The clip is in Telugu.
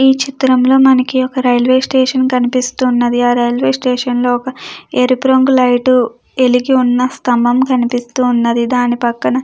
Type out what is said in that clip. ఈ చిత్రంలో మనకి ఒక రైల్వే స్టేషన్ కనిపిస్తున్నది ఆ రైల్వే స్టేషన్ లో ఒక ఏరుపు రంగు లైటు వెలిగి ఉన్న స్తంభం కనిపిస్తూ ఉన్నది దాని పక్కన --